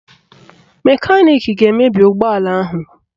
Mekaniki ga-emebi ụgbọala ahụ